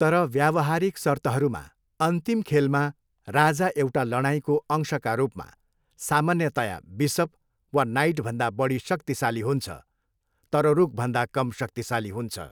तर व्यावहारिक सर्तहरूमा, अन्तिम खेलमा, राजा एउटा लडाइँको अंशका रूपमा सामान्यतया बिसप वा नाइटभन्दा बढी शक्तिशाली हुन्छ तर रुकभन्दा कम शक्तिशाली हुन्छ।